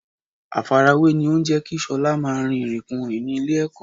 Àfarawé ni ó ń jẹ́ kí Ṣọlá máa rin ìrìnkurìn ní ilé-ẹ̀kọ́